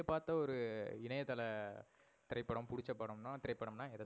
நீங்க பாத்த ஒரு இணணயதள திரைப்படம் புடிச்ச படம்னா திரைப்படம்னா